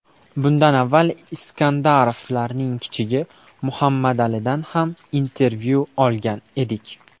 Bundan avval Iskandarovlarning kichigi, Muhammadalidan ham intervyu olgan edik .